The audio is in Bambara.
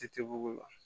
Ci tɛ bugun